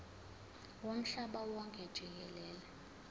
womhlaba wonke jikelele